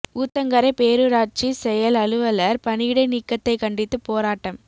ஊத்தங்கரை பேரூராட்சி செயல் அலுவலர் பணியிடை நீக்கத்தை கண்டித்து போராட்டம்